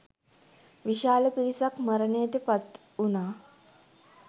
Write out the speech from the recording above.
විශාල පිරිසක් මරණයට පත් වුණා